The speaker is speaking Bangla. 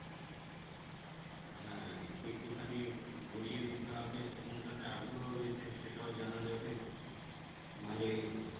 হ্যাঁ একটু একটু খানি ধরিয়ে দিতে হবে কোনটাতে আগ্রহ রয়েছে সেটাও জানা যাবে ভালই হবে